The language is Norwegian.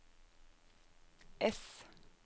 ess